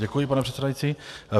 Děkuji, pane předsedající.